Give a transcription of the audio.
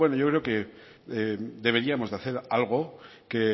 yo creo que deberíamos de hacer algo que